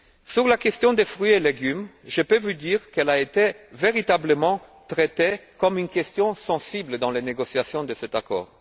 Sur la question des fruits et légumes, je peux vous dire qu'elle a été véritablement traitée comme une question sensible dans les négociations de cet accord.